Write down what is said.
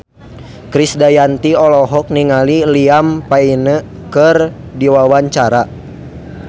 Krisdayanti olohok ningali Liam Payne keur diwawancara